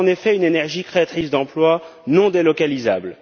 Voilà, en effet, une énergie créatrice d'emplois et non délocalisable.